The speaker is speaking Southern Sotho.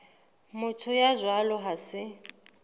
motho ya jwalo ha se